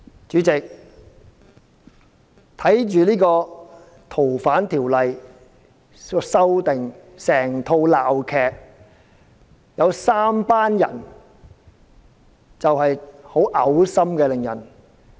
主席，看着修訂《條例》這齣鬧劇，有三夥人令人感到很噁心。